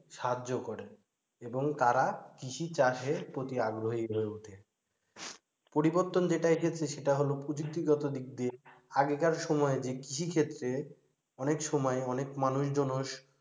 সাহায্য করে এবং তারা কৃষিচাষের প্রতি আগ্রহী হয়ে ওঠে পরিবর্তন যেটা এসেছে সেটা হল প্রযুক্তিগত দিক দিয়ে আগেকার সময়ে যে কৃষিক্ষেত্রে অনেক সময় অনেক মানুষজন,